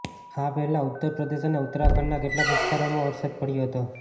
આ પહેલા ઉત્તર પ્રદેશ અને ઉત્તરાખંડના કેટલાક વિસ્તારોમાં વરસાદ પડ્યો હતો